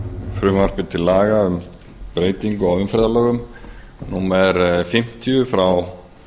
frumvarpi til laga um breytingu á umferðarlögum númer fimmtíu frá